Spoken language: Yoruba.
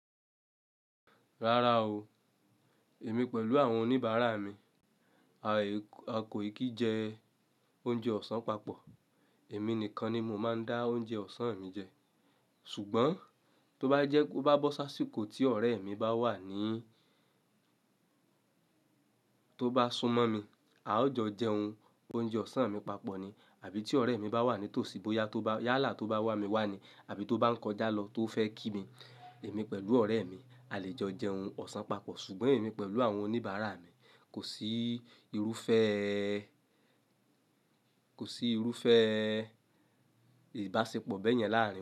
Rárá o, èmi pẹ̀lú àwọn oníbàárà mi, a ko kìí jẹ oúnjẹ ọ̀sán papọ̀. Èmi nìkan ni mo máa ń dá oúnjẹ ọ̀sán mi jẹ ṣùgbọ́n tó bá jẹ́ kó bá bọ́ sá sì kó tí ọ̀rẹ́ mi bá wà ní tó bá súmọ́ mi, a ó jo jẹun. Oúnjẹ ọ̀sán mi papọ̀ ni àbí tí ọ̀rẹ́ mi bá wà ní tòsí bóyá yálà tó bá wà mí wà ní àbí tó bá ń kọjá lọ tó fẹ́ kí mi, èmi pẹ̀lú ọ̀rẹ́ mi a lè jo jẹun ọ̀sán papọ̀ ṣùgbọ́n èmi pẹ̀lú àwọn oníbàárà mi kò sí irúfẹ́ kò sí irúfẹ́ ìbáṣepọ̀ bẹ́yẹn láàárín.